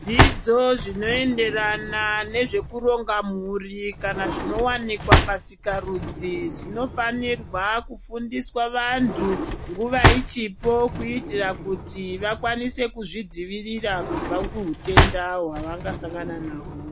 Zvidzidzo zvinoenderana nezvekuronga mhuri kana zvinvanikwa pasikarudzi. Zvinofanirwa kufundiswa vantu nguva ichipo. Kuitira vantu vakwanise kuzvidzivirira kubva kuhutenda hwava ngasangana naho.